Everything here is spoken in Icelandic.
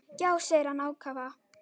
Já, segir hann ákafur.